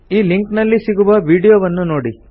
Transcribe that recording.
ಈ ಲಿಂಕ್ ನಲ್ಲಿ ಸಿಗುವ ವೀಡಿಯೋವನ್ನು ನೋಡಿ